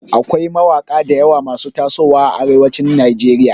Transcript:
Akwai mawaƙa dayawa masu taso wa a arewacin nigeria